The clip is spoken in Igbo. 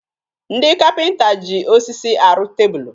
Ndị kapịnta ji osisi arụ tebulu